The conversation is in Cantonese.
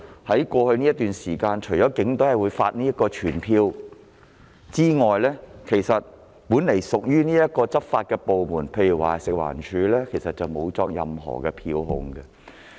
在過去一段時間，除警隊會發出告票外，本來屬執法部門的食物環境衞生署根本沒有作出任何票控。